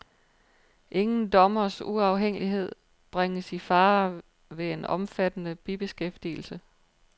Ingen dommers uafhængighed bringes i fare ved en omfattende bibeskæftigelse.